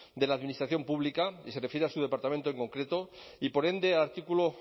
de la administración pública y se refiere a su departamento en concreto y por ende el artículo